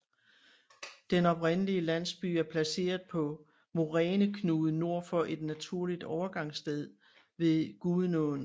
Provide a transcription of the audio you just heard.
Den oprindelige landsby er placeret på en moræneknude nord for et naturligt overgangssted på Gudenåen